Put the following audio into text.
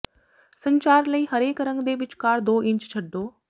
ਸੰਚਾਰ ਲਈ ਹਰੇਕ ਰੰਗ ਦੇ ਵਿਚਕਾਰ ਦੋ ਇੰਚ ਛੱਡੋ